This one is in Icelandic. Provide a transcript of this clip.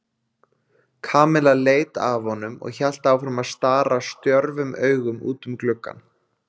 Kamilla leit af honum og hélt áfram að stara stjörfum augum út um gluggann.